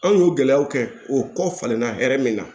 An y'o gɛlɛyaw kɛ o kɔ falenna hɛrɛ min na